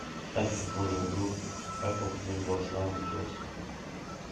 ставь футбольную игру апл между арсеналом и челси